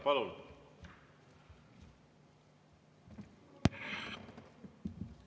Palun!